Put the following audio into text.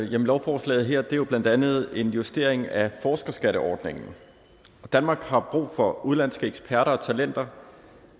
lovforslaget her er jo blandt andet en justering af forskerskatteordningen danmark har brug for udenlandske eksperter og talenter